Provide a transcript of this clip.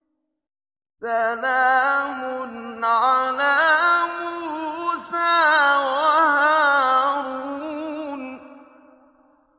سَلَامٌ عَلَىٰ مُوسَىٰ وَهَارُونَ